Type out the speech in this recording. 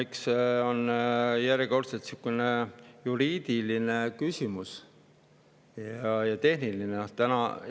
Eks see on järjekordselt selline juriidiline ja tehniline küsimus.